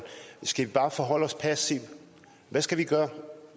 skal vi bare forholde os passivt hvad skal vi